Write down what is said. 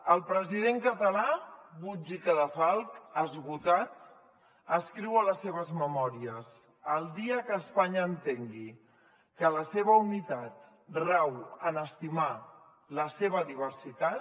el president català puig i cadafalch esgotat escriu a les seves memòries el dia que espanya entengui que la seva unitat rau en estimar la seva diversitat